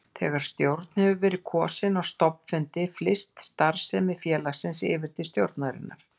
Þegar stjórn hefur verið kosin á stofnfundi flyst starfsemi félagsins yfir til stjórnarinnar.